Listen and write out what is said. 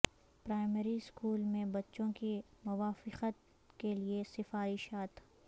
primary school میں بچوں کی موافقت کے لئے سفارشات